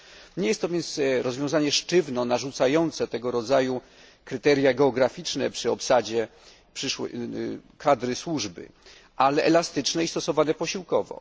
Nie jest to więc rozwiązanie sztywno narzucające tego rodzaju kryteria geograficzne przy obsadzie przyszłej kadry służby, ale elastyczne i stosowane posiłkowo.